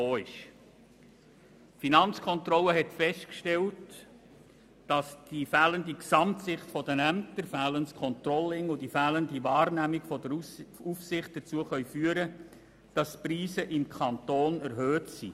Die Finanzkontrolle hat festgestellt, dass die fehlende Gesamtsicht der Ämter, das fehlende Controlling und die fehlende Wahrnehmung der Aufsicht dazu führen können, dass die Preise im Kanton erhöht sind.